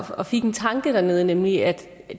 og fik en tanke dernede nemlig at